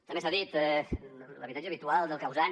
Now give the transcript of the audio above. també s’ha dit l’habitatge habitual del causant